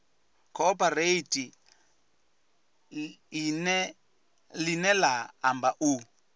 cooperate ḽine ḽa amba u